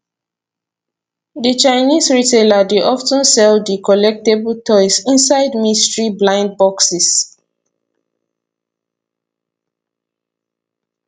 di chinese retailer dey of ten sell di collectable toys inside mystery blind boxes